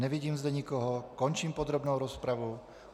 Nevidím zde nikoho, končím podrobnou rozpravu.